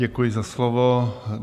Děkuji za slovo.